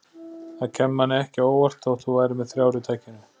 Það kæmi manni ekki á óvart þótt þú værir með þrjár í takinu